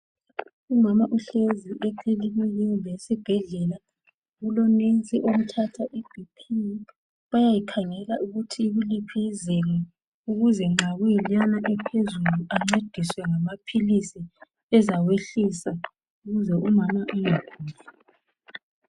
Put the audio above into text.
Umama uhlezi esibhedlela, kuloNesi omthatha ibp bayayikhangela ukuthi ikuliphi izinga ukuze nxa kuyikeyana ephezulu ancediswe ngamaphilisi ezawehlisa ukuze umama engaguli.